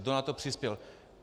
Kdo na to přispěl?